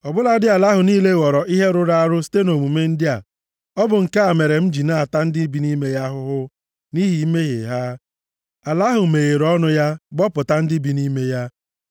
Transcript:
Ọ bụladị ala ahụ niile ghọrọ ihe rụrụ arụ site nʼomume ndị a. Ọ bụ nke a mere m ji ata ndị bi nʼime ya ahụhụ nʼihi mmehie ha. Ala ahụ meghere ọnụ ya gbọpụta ndị bi nʼime ya.